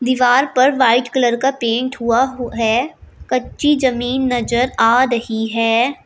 चार पर white colour का पेंट हुआ है कच्ची जमीन नजर आ रही है।